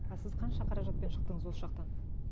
а сіз қанша қаражатпен шықтыңыз осы жақтан